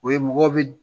O ye mɔgɔw bi